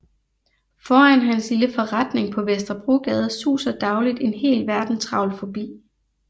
Foran hans lille forretning på Vesterbrogade suser dagligt en hel verden travlt forbi